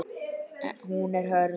Hún er hörð.